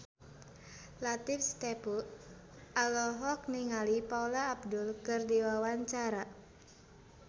Latief Sitepu olohok ningali Paula Abdul keur diwawancara